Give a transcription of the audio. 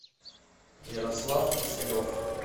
ярослав киселев